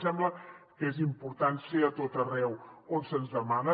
ens sembla que és important ser a tot arreu on se’ns demana